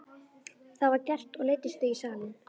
Það var gert og leiddust þau í salinn.